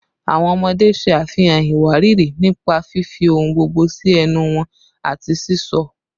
Awọn ọmọde ṣe afihan iwariiri nipa fifi ohun gbogbo si ẹnu wọn ati sisọ